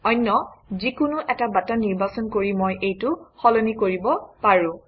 অন্য যিকোনো এটা বাটন নিৰ্বাচন কৰি মই এইটো সলনি কৰিব পাৰোঁ